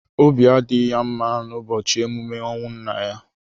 Obi adịghị ya mma n'ụbọchị emume ọnwụ nna ya.